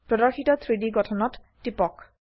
প্রদর্শিত 3ডি গঠনত টিপক